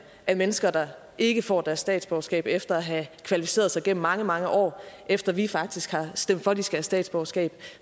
af mennesker der ikke får deres statsborgerskab efter at have kvalificeret sig gennem mange mange år efter at vi faktisk har stemt for at de skal have statsborgerskab